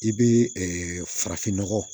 I bɛ farafinnɔgɔ